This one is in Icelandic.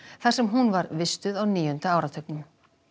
þar sem hún var vistuð á níunda áratugnum